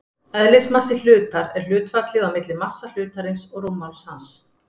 Eðlismassi hlutar er hlutfallið á milli massa hlutarins og rúmmáls hans.